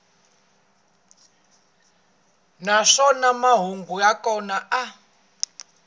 naswona mahungu ya kona a